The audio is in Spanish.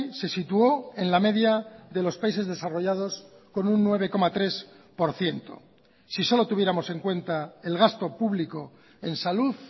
se situó en la media de los países desarrollados con un nueve coma tres por ciento si solo tuviéramos en cuenta el gasto público en salud